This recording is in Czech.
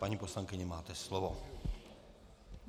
Paní poslankyně, máte slovo.